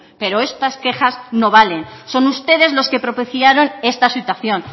pero estas quejas no valen son ustedes los que propiciaron esta situación